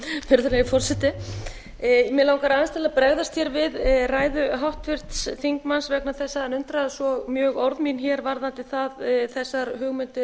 virðulegi forseti mig langar aðeins til að bregðast hér við ræðu háttvirts þingmanns vegna þess að hann undraðist svo mjög orð mín hér varðandi þessar hugmyndir